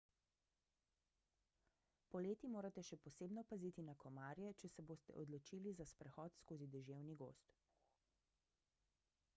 poleti morate še posebno paziti na komarje če se boste odločili za sprehod skozi deževni gozd